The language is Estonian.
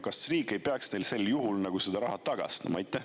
Aga kas riik ei peaks neile sel juhul seda raha tagastama?